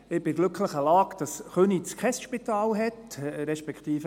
Ich bin in der glücklichen Lage, dass Köniz kein Spital hat, respektive: